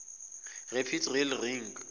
rapid rail link